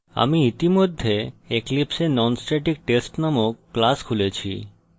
আমি ইতিমধ্যে eclipse এ nonstatictest নামক ক্লাস খুলেছি